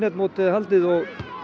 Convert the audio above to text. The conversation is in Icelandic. mótið er haldið og